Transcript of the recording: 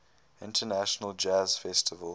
international jazz festival